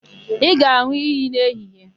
Ị ga-an̄ụ iyi n'ehihie?